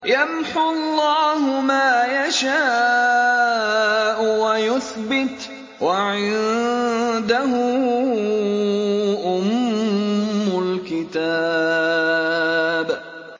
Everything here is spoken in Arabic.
يَمْحُو اللَّهُ مَا يَشَاءُ وَيُثْبِتُ ۖ وَعِندَهُ أُمُّ الْكِتَابِ